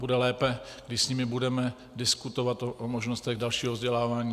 Bude lépe, když s nimi budeme diskutovat o možnostech dalšího vzdělávání.